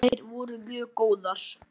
Þær voru mjög góðar.